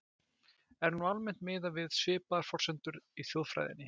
Er nú almennt miðað við svipaðar forsendur í þjóðfræðinni.